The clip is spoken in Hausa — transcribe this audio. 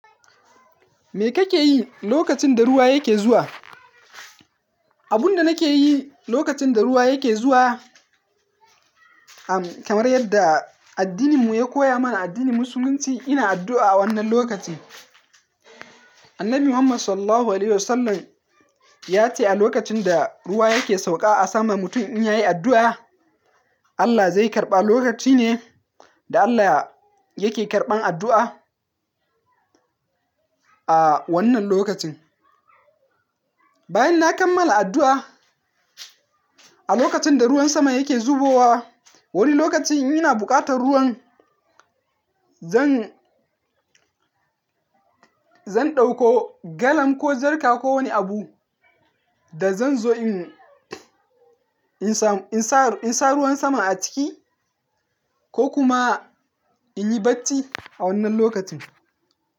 Me kake yi lokacin da ruwa yake zuwa? Abun da nake yi lokacin da ruwa yake zuwa, kamar yadda addininmu ya koya mana, addinin musulunci, ina addu'a a wannan lokacin. Annabi Muhammad Sallallahu Alaihi Wasallam ya ce a lokacin da ruwa yake sauka a sama mutum in yi addu'a, Allah zai karɓa. Lokaci ne da Allah yake karɓan addu'a a wannan lokacin. Bayan na kammala addu'a, a lokacin da ruwan sama yake zubowa, wani lokacin ina buƙatar ruwan, zan, zan ɗauko galan ko jarka ko wani abu da zan zo in, in sa, in sa ruwan sama a ciki ko kuma in yi bacci a wannan lokacin.